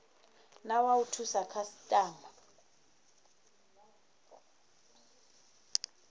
na wa u thusa khasitama